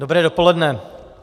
Dobré dopoledne.